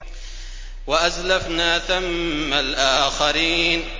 وَأَزْلَفْنَا ثَمَّ الْآخَرِينَ